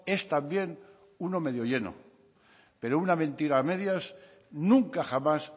es también uno medio lleno pero una mentira a medias nunca jamás